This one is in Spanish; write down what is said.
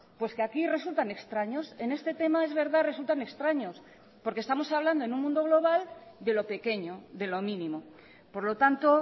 pues que aquí resultan extraños en este tema es verdad resultan extraños porque estamos hablando en un mundo global de lo pequeño de lo mínimo por lo tanto